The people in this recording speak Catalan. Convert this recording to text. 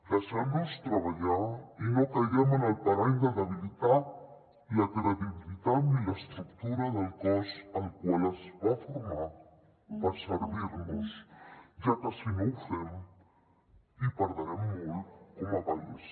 deixem los treballar i no caiguem en el parany de debilitar la credibilitat ni l’estructura del cos el qual es va formar per servir nos ja que si no ho fem hi perdrem molt com a país